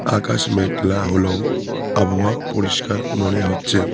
আকাশ মেঘলা হলেও আবহাওয়া পরিষ্কার মনে হচ্ছে।